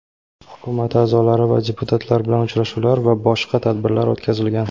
hukumat a’zolari va deputatlar bilan uchrashuvlar va boshqa tadbirlar o‘tkazilgan.